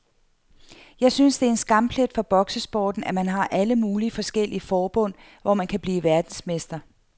Jeg synes det er en skamplet for boksesporten, at man har alle mulige forskellige forbund, hvor man kan blive verdensmester.